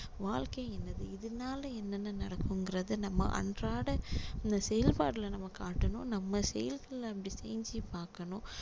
வாழ்க்கை என்னது இதுனால என்னென்ன நடக்குங்குறத நம்ம அன்றாட இந்த செயல்பாடுல நம்ம காட்டணும் நம்ம செயல்களை அப்படி செஞ்சு பார்க்கணும்